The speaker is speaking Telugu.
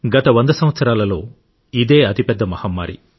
గత వంద సంవత్సరాలలో ఇది అతి పెద్ద మహమ్మారి